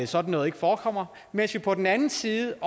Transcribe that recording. sådan noget ikke forekommer mens vi på den anden side